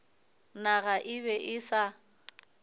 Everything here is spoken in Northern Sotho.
naga e be e sa